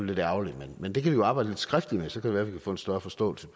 lidt ærgerligt men det kan vi jo arbejde lidt skriftligt med og så kan være vi kan få en større forståelse